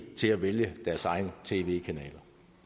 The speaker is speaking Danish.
til at vælge deres egen tv kanaler